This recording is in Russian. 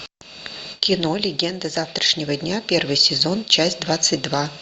кино легенды завтрашнего дня первый сезон часть двадцать два